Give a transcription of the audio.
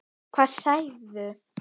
Hvað sagirðu?